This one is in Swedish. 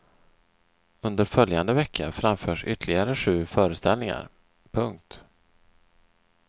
Under följande vecka framförs ytterligare sju föreställningar. punkt